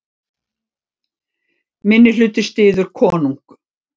Minnihluti styður konung